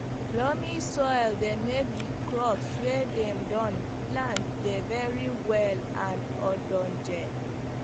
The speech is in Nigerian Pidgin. loamy soil dey make the crops wey dem don plant dey very well and ogdonge